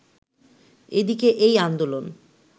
এদিকে এই আন্দোলন